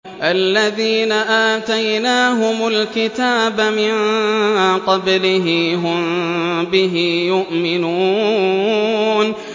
الَّذِينَ آتَيْنَاهُمُ الْكِتَابَ مِن قَبْلِهِ هُم بِهِ يُؤْمِنُونَ